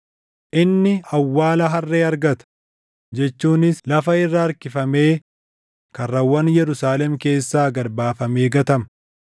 Inni awwaala harree argata, jechuunis lafa irra harkifamee karrawwan Yerusaalem keessaa gad baafamee gatama.”